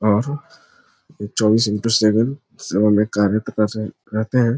और चौबीस into seven सेवा में कार्यकर्ता सब रहतें हैं।